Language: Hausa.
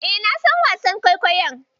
E, na san wasan kwaikwayon.